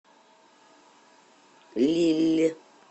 лилль